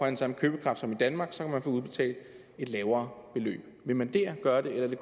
den samme købekraft som i danmark så kan man få udbetalt et lavere beløb vil man der gøre det